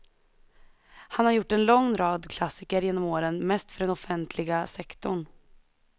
Han har gjort en lång rad klassiker genom åren, mest för den offentliga sektorn.